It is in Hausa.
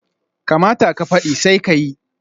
Kamata ka fadi, sai ka yi